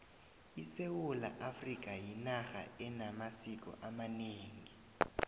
isewula afrikha yinarha enamasiko amanengi